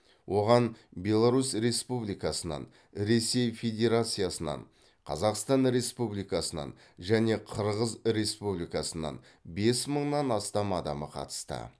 оған беларусь республикасынан ресей федерациясынан қазақстан республикасынан және қырғыз республикасынан бес мыңнан астам адамы қатысты